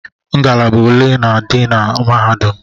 Ngalaba ole na-adị na mahadum?